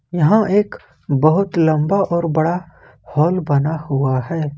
यहां एक बहुत लंबा और बड़ा हॉल बना हुआ है।